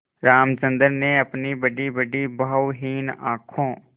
रामचंद्र ने अपनी बड़ीबड़ी भावहीन आँखों